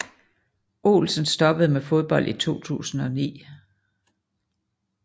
Olsen stoppede med fodbold i 2009